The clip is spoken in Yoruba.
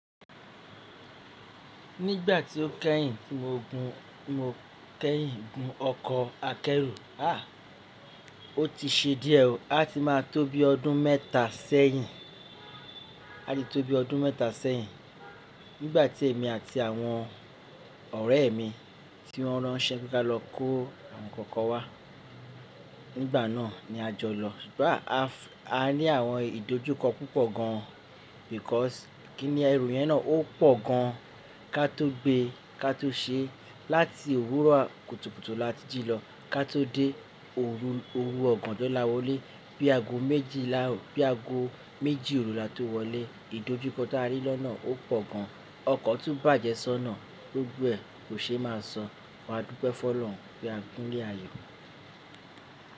Nígbà tí ó kẹ́yìn tí mo gun, mo kẹ́yìn gun ọkọ̀ akẹ́rù. Ah! Ó ti ṣe díẹ̀ ò. A ti máa tó bí ọdún mẹ́ta sẹ́yìn. A ti tó bí ọdún mẹ́ta sẹ́yìn. Nígbà tí èmi àti àwọn ọ̀rẹ́ mi tí wọ́n rán ṣẹ́ pe ka lọ kó nkan nkan kan wá. Nígbà náà ni a jọ lọ. Àa à a ní àwọn ìdójúkọ púpọ̀ gan. Because kíni ẹrù yẹn náà ó pọ̀ gan. Ká tó gbe, ká tó ṣe, láti òwúrọ̀ kùtùkùtù la tí jì lọ, ká tó dé òru òru ọ̀gànjo là wọlé. Bí ago méjìlá, bí ago méjì òru la tó wọlé. Ìdójúkọ tí a rí lọ́nà ó pọ̀ gan. Ọkọ̀ tún bàjẹ́ sọ́nà. Gbogbo ẹ kò ṣe é má sọ. Wa dúpẹ́ fọ́ lọ̀run. Bí a gún lé ayo.